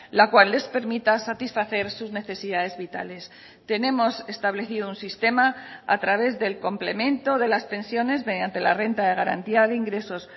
la cual les permita satisfacer sus necesidades vitales tenemos establecido un sistema a través del complemento de las pensiones mediante la renta de garantía de ingresos